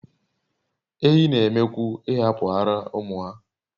Ehi n'eme kwu ihapu ara umu ha